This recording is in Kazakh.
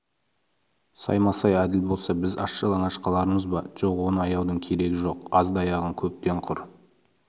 саймасай әділ болса біз аш-жалаңаш қалармыз ба жоқ оны аяудың керегі жоқ азды аяған көптен құр